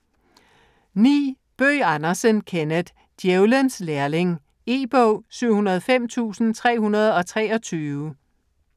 Bøgh Andersen, Kenneth: Djævelens lærling E-bog 705323